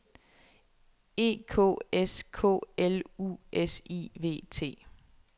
E K S K L U S I V T